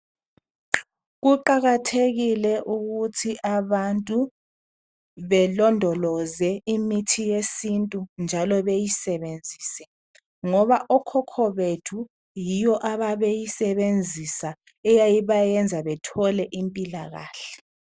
Kuqakathekile ukuthi abantu belondoloze imithi yesintu, njalo beyisenzise, ngoba okhokho bethu, yiyo ababeyisebenzisa ayayibayenza bethole imphilakahle.